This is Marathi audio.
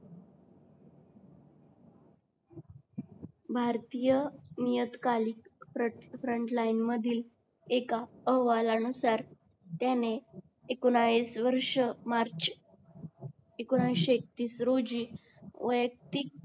भारतीय नियतकालिक फ्रॉन्टलईन मधील एका अहवाला नुसार त्याने एकोणावीस वर्ष मार्च मध्ये एकोणएशी एकतीस रोजी वयक्तिक